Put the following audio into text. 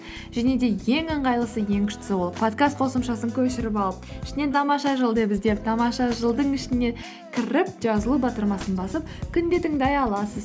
және де ең ыңғайлысы ең күштісі ол подкаст қосымшасын көшіріп алып ішінен тамаша жыл деп іздеп тамаша жыл дың ішіне кіріп жазылу батырмасын басып күнде тыңдай аласыз